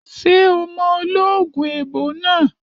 Ṣé o mọ ológun èèbó náà?